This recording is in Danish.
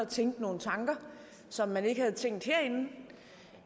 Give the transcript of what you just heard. tænkt nogle tanker som man ikke havde tænkt herinde